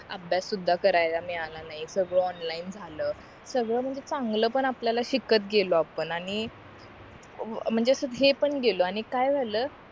अभ्यास सुद्धा करायला मिळाला नाही सगळं ऑनलाईन झालं सगळं म्हणजे चांगला पण आपल्याला शिकत गेलो आपण आणि म्हणजे असं हे पण गेलो आणि काय झालं